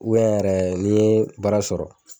yɛrɛ n'i ye baara sɔrɔ